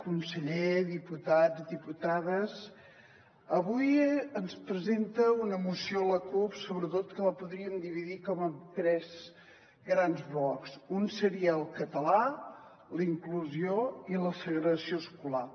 conseller diputats i diputades avui ens presenta una moció la cup que sobretot la podríem dividir en tres grans blocs un seria el català la inclusió i la segregació escolar